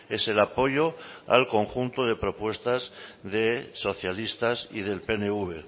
es el apoyo al conjunto de propuestas de socialistas y del pnv